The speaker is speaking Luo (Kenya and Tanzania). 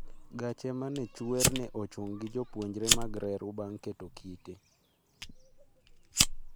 gache ma ne chwer ne ochung gi jopuonjre mag reru bang' keto kite